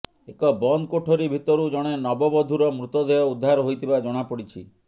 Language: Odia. ଏକ ବନ୍ଦ କୋଠରି ଭିତରୁ ଜଣେ ନବବଧୂର ମୃତଦେହ ଉଦ୍ଧାର ହୋଇଥିବା ଜଣାପଡ଼ିଛି